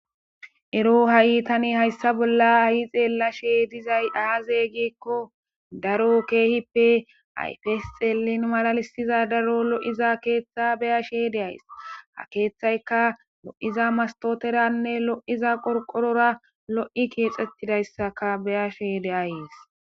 ero ha7i tani hayssa bolla ayi xeella she dizay aazeygikko daro keehippe ayfes xeelin malalissiza daro lo7iza keeththa beya sheede ays ha keeththayka lo7iza mastoteranne lo7iza qorqorora lo7i keexxettidayssaka beya shede ayes